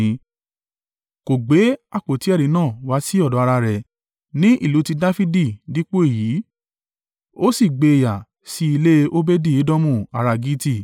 Kò gbé àpótí ẹ̀rí náà wá sí ọ̀dọ̀ ará rẹ̀ ní ìlú ti Dafidi dípò èyí, ó sì gbé e yà sí ilé Obedi-Edomu ará Gitti.